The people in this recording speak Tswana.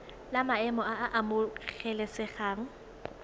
la maemo a a amogelesegang